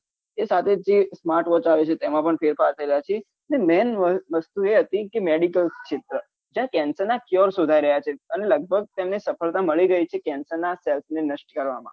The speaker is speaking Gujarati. એ સાથે જે smart watch આવે છે તેમાં પણ ફેરફાર થઇ રહ્યા છે મૈન વસ્તુ એ હતી medical ક્ષેત્ર ત્યાં cancer ના cure શોધી રહ્યા છે અન લગભગ તેમને સફળતા મળી ગઈ છે cancer ના cesls ને નસ્ટ કરવા માં